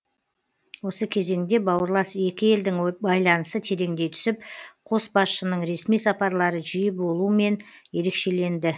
осы кезеңде бауырлас екі елдің байланысы тереңдей түсіп қос басшының ресми сапарлары жиі болуымен ерекшеленді